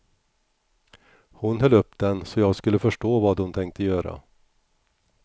Hon höll upp den så jag skulle förstå vad hon tänkte göra.